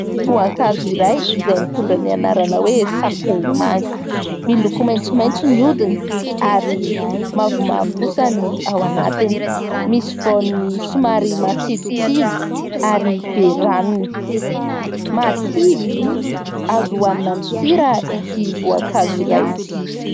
Voankazo iray izay mitondra ny anarana hoe sakomanga, miloko maitsomaitso ny odiny ary mavomavo kosa ny ao anatiny, misy voany somary matsilotsilo ary be ranony. Marikivy azo hoanina amin'ny sira ity voankazo iray ity.